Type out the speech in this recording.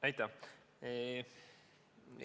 Aitäh!